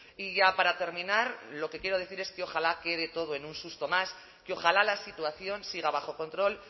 y ya para terminar lo que quiero decir es que ojalá quede todo en un susto más que ojalá la situación siga bajo control